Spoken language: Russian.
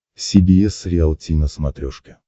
си би эс риалти на смотрешке